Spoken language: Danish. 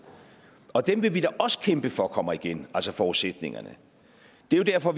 og dem vil vi da også kæmpe for kommer igen altså forudsætningerne det er derfor